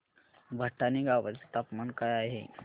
भटाणे गावाचे तापमान काय आहे